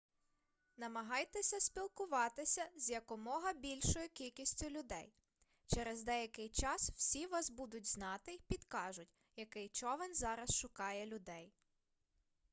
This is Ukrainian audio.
намагайтеся спілкуватися з якомога більшою кількістю людей через деякий час всі вас будуть знати й підкажуть який човен зараз шукає людей